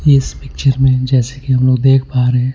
इस पिक्चर में जैसे कि हम लोग देख पा रहे हैं.